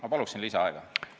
Ma palun lisaaega!